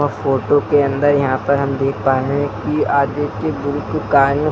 photo के अंदर यहाँ पर हम देख पा रहे हैं की आगे की